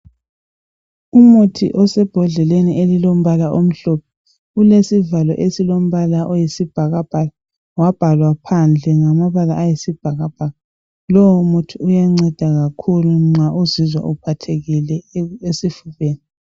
Umuthi osebhodleleni elilombala omhlophe ulesivalo esilombala oyisibhakabhaka ,wabhalwa phandle ngamabala ayisibhakabhaka lowo muthi uyanceda kakhulu nxa uzizwa uphathekile esifubeni.